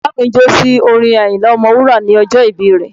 Bàbá mi jó sí orin Àyìnlá Ọmọ wúrà ní ọjọ́ ìbí rẹ̀